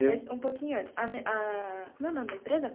Mas, um pouquinho antes, a me ah... Como é o nome da empresa?